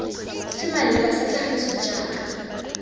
se maleba sa tlhagiso jaaka